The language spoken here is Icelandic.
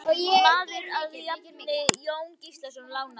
Maður að nafni Jón Gíslason lánaði mér.